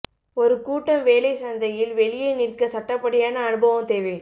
ஒரு கூட்டம் வேலை சந்தையில் வெளியே நிற்க சட்டப்படியான அனுபவம் தேவை